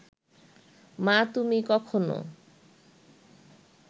মা, তুমি কখনো